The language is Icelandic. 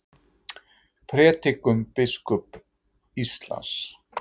Prédikun biskups Íslands